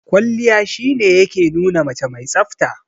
Kwalliya shi ne ya ke nuna mace mai tsafta.